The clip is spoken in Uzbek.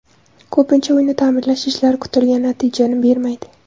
Ko‘pincha uyni ta’mirlash ishlari kutilgan natijani bermaydi.